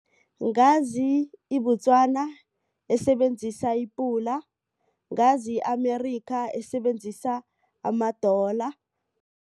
Ngazi i-Botswana esebenzisa i-pula ngazi i-Amerika esebenzisa ama-dollar.